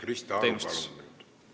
Krista Aru, palun nüüd!